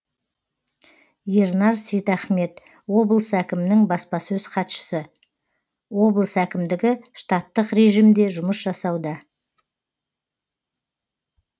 ернар сейтахмет облыс әкімінің баспасөз хатшысы облыс әкімдігі штаттық режимде жұмыс жасауда